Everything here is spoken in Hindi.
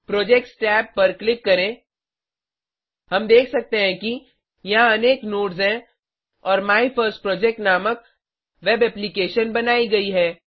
प्रोजेक्ट्स टैब पर क्लिक करें हम देख सकते हैं कि यहाँ अनेक नोड्स हैं और माय फर्स्ट प्रोजेक्ट नामक वेब एप्लीकेशन बनाई गयी है